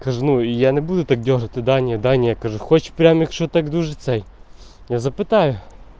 скажи ну я не буду так делать свидания дания хочет прям что так душицей я заплетаю